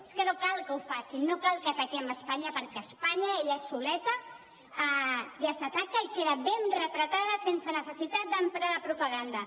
és que no cal que ho facin no cal que ataquem espanya perquè espanya ella soleta ja s’ataca i queda ben retratada sense necessitat d’emprar la propaganda